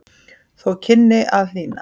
Þó kynni að hlýna.